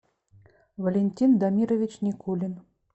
валентин дамирович никулин